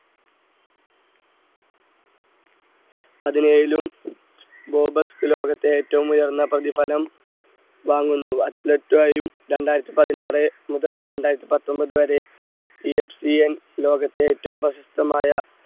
പതിനേഴിലും Forbes ലോകത്തെ ഏറ്റവും ഉയർന്ന പ്രതിഫലം വാങ്ങുന്നു athlete യും രണ്ടായിരത്തി പതിനാറ് മുതൽ രണ്ടായിരത്തി പത്ത്ഒൻപത് വരെ EFCN ലോകത്തെ ഏറ്റവും പ്രശസ്തമായ